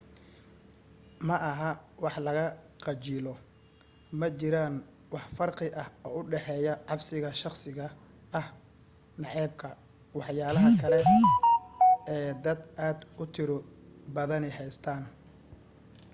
maaha wax laga khajilo majiraan wax farqi ah oo u dhaxeeya cabsiga shakhsiga ah nacaybka waxyaalaha kale ee dad aad u tiro badani haystaan